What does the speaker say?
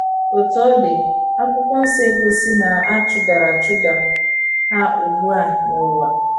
Otú ọ dị, akwụkwo nsọ egosi na a chụdara chụdara ha ugbu a n’ụwa